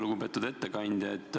Lugupeetud ettekandja!